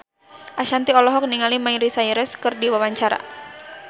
Ashanti olohok ningali Miley Cyrus keur diwawancara